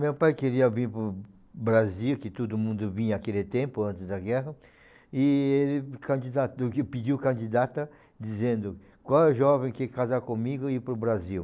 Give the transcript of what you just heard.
Meu pai queria vir para o Brasil, que todo mundo vinha aquele tempo, antes da guerra, e ele candidato do Rio, pediu candidata, dizendo qual jovem quer casar comigo e ir para o Brasil?